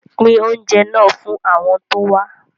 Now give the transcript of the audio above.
Pín oúnjẹ náà fún àwọn tó wá